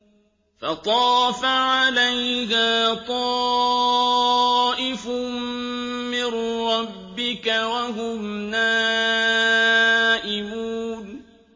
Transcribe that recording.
فَطَافَ عَلَيْهَا طَائِفٌ مِّن رَّبِّكَ وَهُمْ نَائِمُونَ